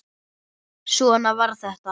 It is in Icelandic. Svona var þetta.